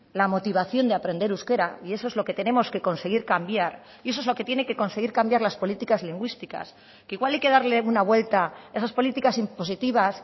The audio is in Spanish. la motivación de aprender euskera y eso es lo que tenemos que conseguir cambiar y eso es lo que tiene que conseguir cambiar las políticas lingüísticas que igual hay que darle una vuelta a esas políticas impositivas